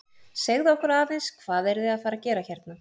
Segðu okkur aðeins, hvað eruð þið að fara að gera hérna?